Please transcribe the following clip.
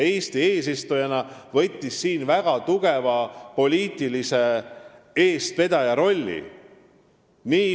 Eesti eesistujana võttis siin väga tugevalt poliitilise eestvedaja rolli.